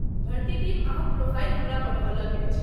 भर्ती टीम अहाँक प्रोफाइल हमरा पठौलक अछि।